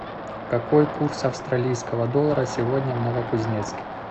какой курс австралийского доллара сегодня в новокузнецке